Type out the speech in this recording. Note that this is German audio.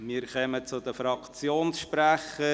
Wir kommen zu den Fraktionssprechern.